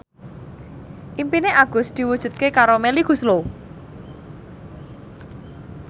impine Agus diwujudke karo Melly Goeslaw